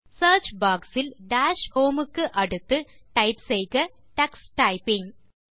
search box இல் dash home க்கு அடுத்து டைப் செய்க டக்ஸ் டைப்பிங்